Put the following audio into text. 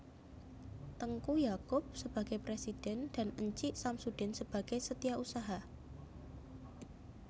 Tengku Yaakob sebagai presiden dan Encik Samsudin sebagai setiausaha